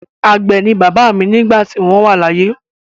Àgbẹ̀ ni bàbá mi nígbà tí wọ́n wà láyé.